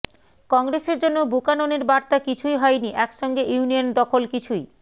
কংগ্রেসের জন্য বুকাননের বার্তা কিছুই হয়নি একসঙ্গে ইউনিয়ন দখল কিছুই